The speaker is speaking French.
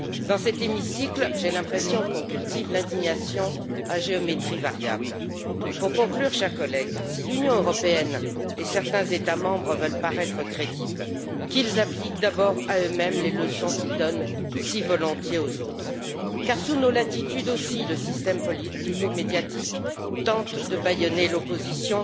Dans cet hémicycle, j'ai l'impression qu'on cultive l'indignation à géométrie variable. Pour conclure, chers collègues, si l'Union européenne et certains États membres veulent paraître crédibles, qu'ils appliquent d'abord à eux mêmes les leçons qu'ils donnent si volontiers aux autres, car, sous nos latitudes aussi, le système politico médiatique tente de bâillonner l'opposition